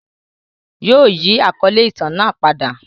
Yóò yi àkọle itan naa pada.